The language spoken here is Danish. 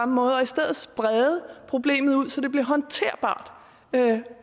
måde og i stedet sprede problemet ud så det blev håndterbart